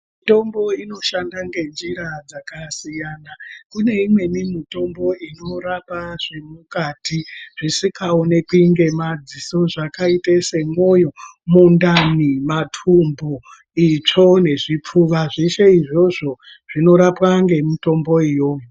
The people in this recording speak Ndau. Mitombo inoshandwa ngenjira dzakasiyana . Kune imweni mitombo inorapa zvemukati zvisingaoneki ngemadziso zvakaite semoyo ,mundani ,matumbu ,itsvo nezvipfuva zveshe izvozvo zvinorapwa ngemitombo iyoyo.